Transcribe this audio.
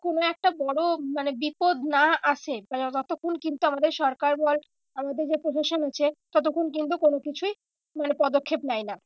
কোনো একটা বড়ো মানে বিপদ না আসে ততক্ষন কিন্তু আমাদের সরকার বল আমাদের যে প্রশাসন আছে ততক্ষন কিন্তু কোনো কিছুই মানে পদক্ষেপ নেয় না।